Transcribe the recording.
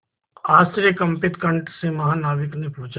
आश्चर्यकंपित कंठ से महानाविक ने पूछा